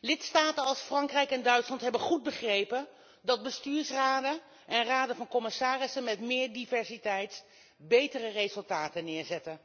Lidstaten als Frankrijk en Duitsland hebben goed begrepen dat bestuursraden en raden van commissarissen met meer diversiteit betere resultaten neerzetten.